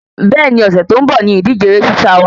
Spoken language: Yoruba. Bẹ́ẹ̀ni, Ọ̀sẹ̀ tó ń bò ni ìdíje eré sísá wa